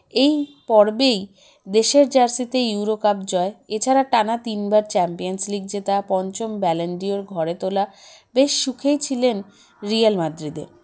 এই পর্বেই দেশের jersey -তেই ইউরোকাপ জয় এছাড়া টানা তিন বার চ্যাম্পিয়ন্স লীগ জেতা পঞ্চম ব্যালেন্ডিওর ঘরে তোলা বেশ সুখেই ছিলেন রিয়াল মাদ্রিদে